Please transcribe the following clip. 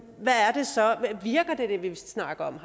snakker om